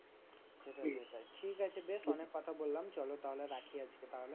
সেটাই সেটাই ঠিকাছে বেশ অনেক কথা বললাম চলো তাহলে রাখি আজকে তাহলে।